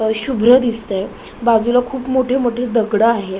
शुभ्र दिसतंय. बाजूला खूप मोठे मोठे दगड आहेत.